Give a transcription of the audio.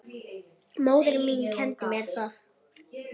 Móðir mín kenndi mér það.